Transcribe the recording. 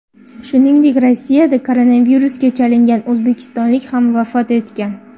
Shuningdek, Rossiyada koronavirusga chalingan o‘zbekistonlik ham vafot etgan .